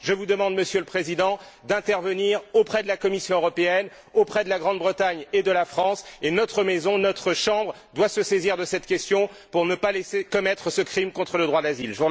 Je vous demande, Monsieur le Président, d'intervenir auprès de la Commission européenne, auprès de la Grande Bretagne et de la France, et notre maison, notre Chambre, doit se saisir de cette question pour ne pas laisser commettre ce crime contre le droit d'asile.